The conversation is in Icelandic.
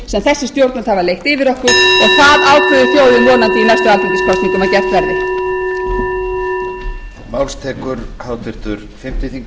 sem þessi stjórnvöld hafa leitt yfir okkur og það ákveður þjóðin vonandi í næstu alþingiskosningum að gert verði